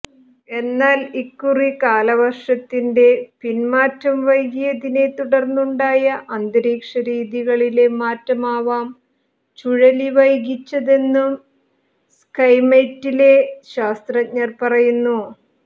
എന്നാൽ ഇക്കുറി കാലവർഷത്തിന്റെ പിന്മാറ്റം വൈകിയതിനെ തുടർന്നുണ്ടായ അന്തരീക്ഷ രീതികളിലെ മാറ്റമാവാം ചുഴലി വൈകിച്ചതെന്നും സ്കൈമെറ്റിലെ ശാസ്ത്രജ്ഞർ പറയുന്നു